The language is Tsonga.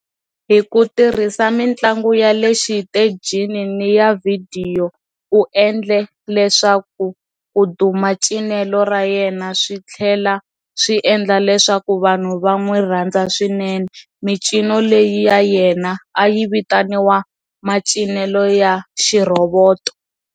Hi ku tirhisa mintlangu ya le xitejini ni ya vhidiyo, u endle leswaku ku duma cinelo rayena switlhela swi endla leswaku vanhu van'wi rhandza swinene, micino leyi ya yena ayi vitaniwa macinelo ya xi roboto.